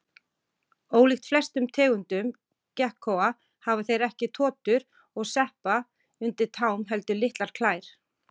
Ólíkt flestum tegundum gekkóa hafa þeir ekki totur og sepa undir tám heldur litlar klær.